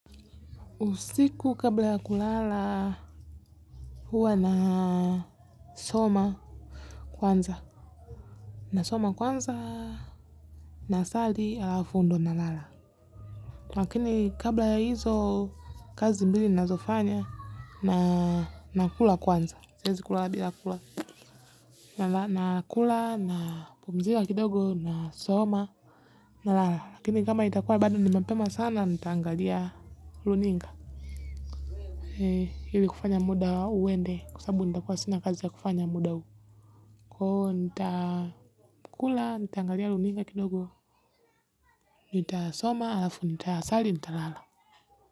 Usiku kabla ya kulala huwa na soma kwanza na soma kwanza na sali alafu ndio na lala. Lakini kabla ya hizo kazi mbili nazofanya na nakula kwanza siezi kulala bila kula na kula na pumzika kidogo na soma na lala. Lakini kama itakua badu nimepema sana nitaangalia runinga ee ili kufanya muda uwnde kwasababu nitakuwa sina kazi ya kufanya muda huu kwa hivo nita kula nitaangalia runinga kidogo nita soma alafu nita sali nita lala.